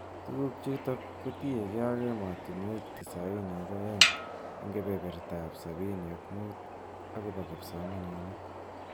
Tukuk chutok kotinyekei ak emotunwek tisainin ak aeng ak kebeberta ab sabini ak mut akobo kipsomaninik.